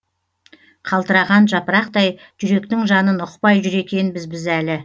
қалтыраған жапырақтай жүректің жанын ұқпай жүр екенбіз біз әлі